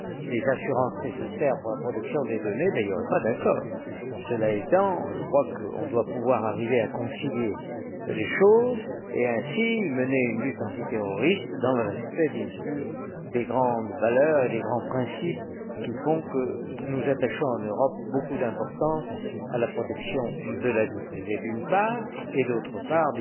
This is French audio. les assurances nécessaires pour la protection des données, il n'y aurait pas d'accord. Cela étant, je crois qu'on doit pouvoir arriver à concilier les choses et ainsi mener une lutte antiterroriste, dans le respect, bien sûr, des grandes valeurs et des grands principes qui font que nous attachons, en Europe, beaucoup d'importance à la protection de la vie privée, d'une part, et au fait